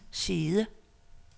side